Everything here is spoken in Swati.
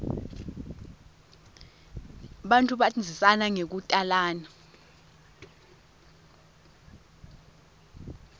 bantfu bandzisana ngekutalana